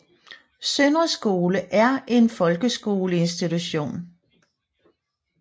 Søndre Skole Er en Folkeskole Institution